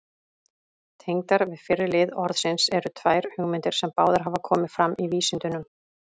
Tengdar við fyrri lið orðsins eru tvær hugmyndir, sem báðar hafa komið fram í vísindunum.